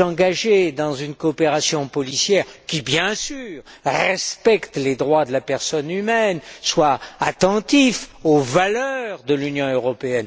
engager dans une coopération policière qui, bien sûr, respecte les droits de la personne humaine, soit attentive aux valeurs de l'Union européenne.